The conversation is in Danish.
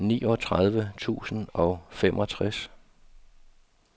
niogtredive tusind og femogtres